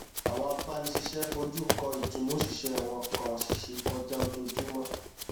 àwọn agbanisíṣẹ foju kọ ìtùnú oṣìṣẹ wọn kàn ṣiṣẹ kọjá ojoojúmọ